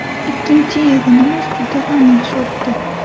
Ikkinchi yig‘inimiz juda ham yaxshi o‘tdi.